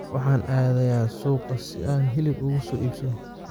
Waxaan aadayaa suuqa si aan hilib uga soo iibsado.